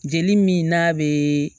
Jeli min n'a bɛ